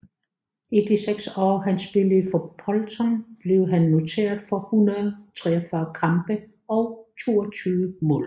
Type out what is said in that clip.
I de seks år han spillede for Bolton blev han noteret for 143 kampe og 22 mål